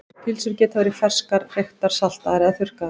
Pylsur geta verið ferskar, reyktar, saltaðar eða þurrkaðar.